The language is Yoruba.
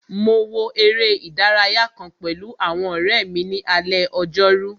Mo wo eré ìdárayá kàn pẹ̀lú àwọn ọ̀rẹ́ mi ní alé ojórú